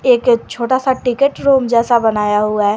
एक ये छोटा सा टिकट रूम जैसा बनाया हुआ है।